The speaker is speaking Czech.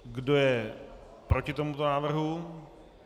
Kdo je proti tomuto návrhu?